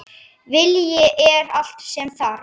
Vilji er allt sem þarf